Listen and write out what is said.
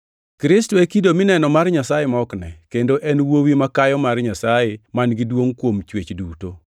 Kristo e kido mineno mar Nyasaye ma ok ne, kendo en e wuowi makayo mar Nyasaye man-gi duongʼ kuom chwech duto.